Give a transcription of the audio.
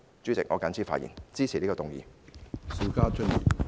主席，我謹此陳辭，支持這項議案。